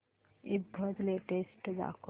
ईबझ लेटेस्ट दाखव